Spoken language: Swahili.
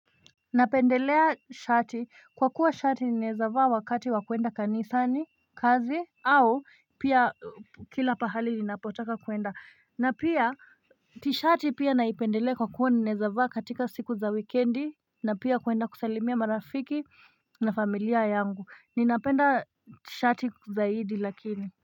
Napendelea shati kwa kuwa shati nenezavaa wakati wakuenda kanisa ni kazi au pia kila pahali ninapotaka kuenda na pia tishati pia naipendelea kwa kuwa nenezavaa katika siku za wikendi na pia kuenda kusalimia marafiki na familia yangu ninapenda shati zaidi lakini.